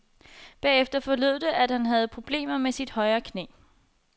Bagefter forlød det, at han havde problemer med sit højre knæ.